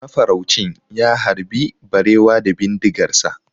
Mafaraucin ya harbi barewa da bindigarsa.